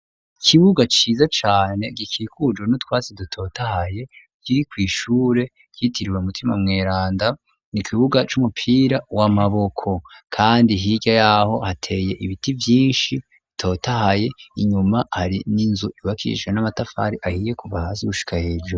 Ikibuga ciza cane gikikujwe n'utwasi dutotahaye kiri kw'ishure ryitiriwe Mutima Mweranda n'ikibuga c'umupira w'amaboko, kandi hirya yaho hateye ibiti vyinshi bitotahaye, inyuma hari n'inzu yubakishijwe n'amatafari ahiye kuva gushika hejuru.